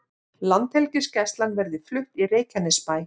Landhelgisgæslan verði flutt í Reykjanesbæ